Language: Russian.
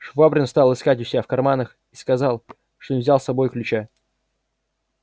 швабрин стал искать у себя в карманах и сказал что не взял с собою ключа